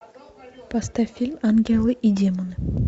поставь фильм ангелы и демоны